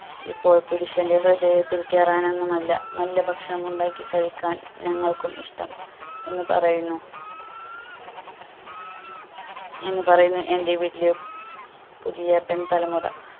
ഇപ്പോൾ പുരുഷന്റെ ഹൃദയത്തിൽ കേറാനൊന്നുമല്ല നല്ല ഭക്ഷണം ഉണ്ടാക്കി കഴിക്കാൻ ഞങ്ങൾക്കും ഇഷ്ട്ടം എന്ന് പറയുന്നു എന്നുപറയുന്നു എന്റെ വീട്ടിലെ പുതിയ പെൺ തലമുറ